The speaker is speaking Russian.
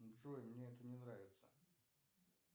джой мне это не нравится